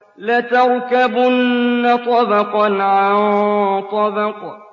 لَتَرْكَبُنَّ طَبَقًا عَن طَبَقٍ